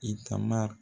I taama